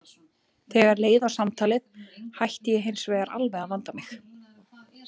Þegar leið á samtalið hætti ég hins vegar alveg að vanda mig.